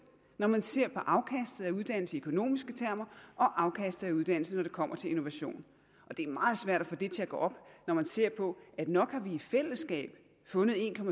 når man ser på afkastet af uddannelse i økonomiske termer og afkastet af uddannelse når det kommer til innovation det er meget svært at få det til at gå op når man ser på at nok har vi i fællesskab fundet en